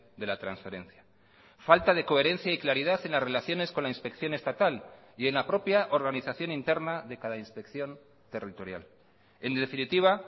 de la transferencia falta de coherencia y claridad en las relaciones con la inspección estatal y en la propia organización interna de cada inspección territorial en definitiva